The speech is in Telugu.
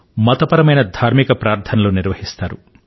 మతపరమైన ధార్మిక ప్రార్థనలు నిర్వహిస్తారు